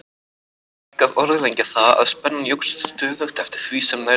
Er ekki að orðlengja það, að spennan jókst stöðugt eftir því sem nær dró Grímsstöðum.